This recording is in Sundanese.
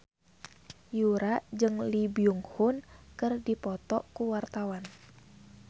Yura jeung Lee Byung Hun keur dipoto ku wartawan